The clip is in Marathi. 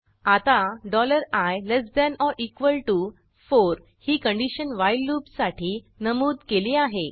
आता i less than or equal to 4 ही कंडिशन व्हाईल लूपसाठी नमूद केली आहे